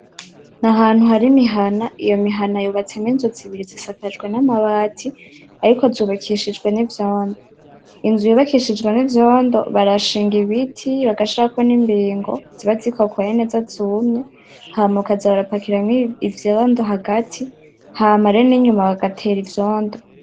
Ahantu hari imihana, iyo mihana yubatsemwo inzu zibiri zisakajwe namabati ariko zubakishijwe nivyondo ,inzu bubakishijwe nivyondo barashiga ibiti bagashirako nimbigo ziba zikokoye neza zumye hama bakaza barapakiramwo ivyondo hagati hama n'inyuma bagatera ivyondo.